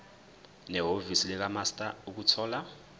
nehhovisi likamaster ukuthola